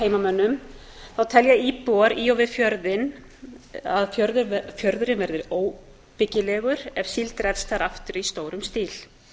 heimamönnum telja íbúar í og við fjörðinn að fjörðurinn verði óbyggilegur ef síld drepst þar aftur í stórum stíl